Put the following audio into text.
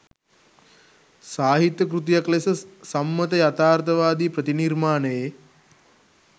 සාහිත්‍යය කෘතියක් ලෙස සම්මත යථාර්ථවාදී ප්‍රතිනිර්මාණයේ